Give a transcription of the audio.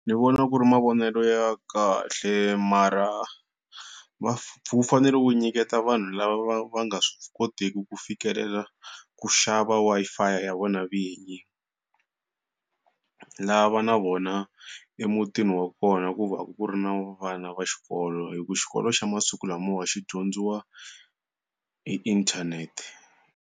Ni vona ku ri mavonelo ya kahle mara, va fa wu fanele wu nyiketa vanhu lava va va nga swi koteki ku fikelela ku xava Wi-Fi ya vona vinyi. Lava na vona emutini wa kona ku va ku ri na vana va xikolo hikuva xikolo xa masiku lamawa xi dyondziwa hi inthanete.